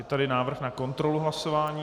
Je tady návrh na kontrolu hlasování.